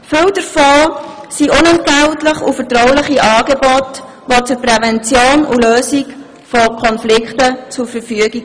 Viele davon stehen als unentgeltliche und vertrauliche Angebote für die Prävention und Lösung von Konflikten zur Verfügung.